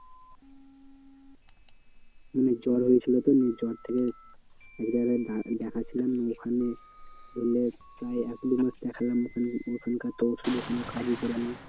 মানে জ্বর হয়েছিল তো নিয়ে জ্বর থেকে দেখাচ্ছিলাম ওখানে ধরেনে প্রায় এক দুমাস দেখালাম ওখানে, ওখানকার তো ওষুধে কোনো কাজই করে না।